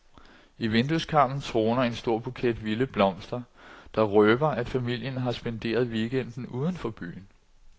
I vindueskarmen troner en stor buket vilde blomster der røber, at familien har spenderet weekenden uden for byen.